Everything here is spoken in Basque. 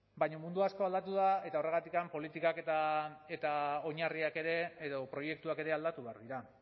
baina mundu asko aldatu da eta horregatik politikak eta oinarriak ere edo proiektuak ere aldatu behar dira